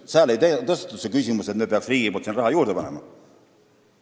Seal ei tõstetud üles seda küsimust, et riik peaks raha juurde panema.